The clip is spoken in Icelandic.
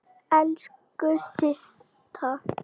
Elsku Systa.